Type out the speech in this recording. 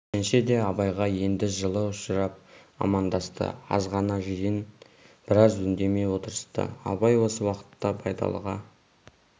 жиренше де абайға енді жылы ұшырап амандасты азғана жиын біраз үндемей отырысты абай осы уақытта байдалыға